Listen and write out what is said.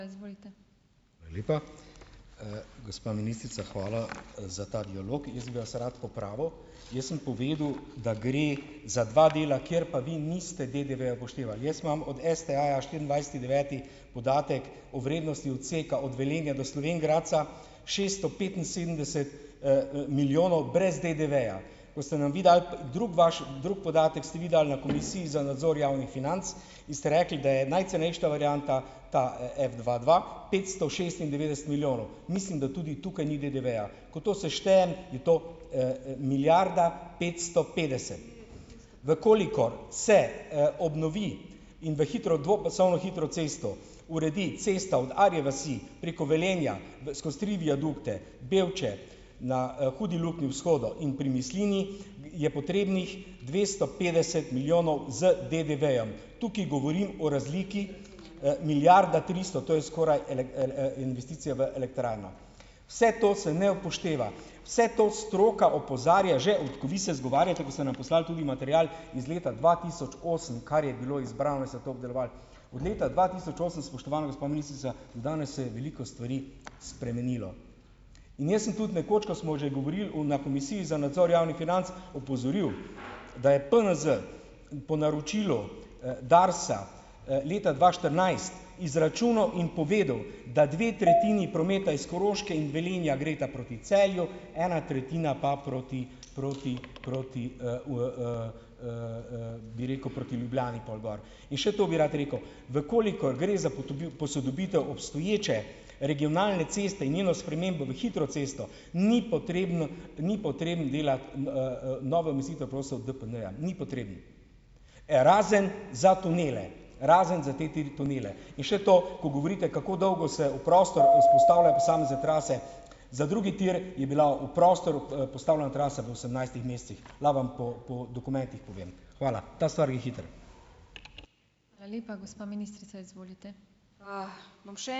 Hvala lepa. Gospa ministrica, hvala za ta dialog. Jaz bi vas rad popravil. Jaz sem povedal, da gre za dva dela, kjer pa vi niste DDV-ja upoštevali. Jaz imam od STA-ja štiriindvajseti deveti podatek o vrednosti odseka od Velenja do Slovenj Gradca - šesto petinsedemdeset, milijonov brez DDV-ja. Ko ste nam vi dali, drugi, vaš drugi podatek, ste vi dal na Komisiji za nadzor javnih financ, in ste rekli, da je najcenejša varianta ta, Fdva dva petsto šestindevetdeset milijonov. Mislim, da tudi tukaj ni DDV-ja. Ko to seštejem, je to, milijarda petsto petdeset. V kolikor se, obnovi in v hitro dvopasovno hitro cesto uredi cesta od Arje vasi, preko Velenja, skozi tri viadukte, Bevče, na, Hudi luknji vzhodu in pri Mislinji, je potrebnih dvesto petdeset milijonov z DDV-jem. Tukaj govorim o razliki, milijarda tristo, to je skoraj investicija v elektrarno. Vse to se ne upošteva, vse to stroka opozarja že - vi se izgovarjate, ko ste nam poslali tudi material iz leta dva tisoč osem, kar je bilo izbrano, ste to obdelovali, od leta dva tisoč osem, spoštovana gospa ministrica, do danes se je veliko stvari spremenilo. In jaz sem tudi nekoč, ko smo že govorili v na Komisiji za nadzor javnih financ, opozoril, da je PNZ po naročilu, Darsa, leta dva štirinajst izračunal in povedal, da dve tretjini prometa iz Koroške in Velenja gresta proti Celju, ena tretjina pa proti proti proti, bi rekel, proti Ljubljani pol gor. In še to bi rad rekel: v kolikor gre za posodobitev obstoječe regionalne ceste in njeno spremembo v hitro cesto, ni potrebno ni potrebno delati novo meritev prosil od DPD-ja, ni potrebno. Razen za tunele, razen za te tri tunele. In še to, ko govorite, kako dolgo se v prostor vzpostavlja posamezne trase, za drugi tir je bila v prostor postavljena trasa v osemnajstih mesecih, lahko vam po po dokumentih povem. Hvala. Ta stvar gre hitro ...